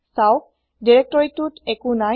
চাওক দিৰেক্তৰিটোত একো নাই